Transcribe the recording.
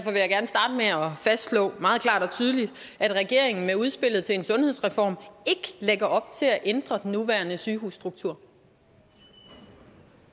fastslå meget klart og tydeligt at regeringen med udspillet til en sundhedsreform ikke lægger op til at ændre den nuværende sygehusstruktur